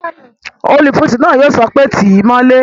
Olùfisùn náà yóò sọ pé "tíì mọ́lé!"